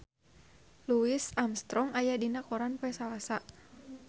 Louis Armstrong aya dina koran poe Salasa